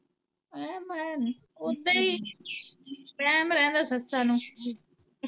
ਵਹਿਮ ਆ, ਓਦਾ ਈ ਵਹਿਮ ਰਹਿੰਦਾ ਸੱਸਾਂ ਨੂੰ।